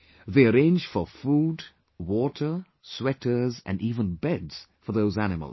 They arrange for food, water, sweaters and even beds for those animals